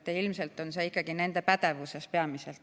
Ilmselt on see ikkagi nende pädevuses peamiselt.